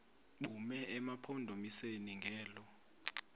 bume emampondomiseni ngelo